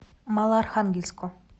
малоархангельску